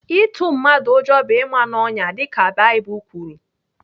Ịtụ mmadụ ụjọ bụ ịma n'ọnyà dịka Baịbụl kwuru.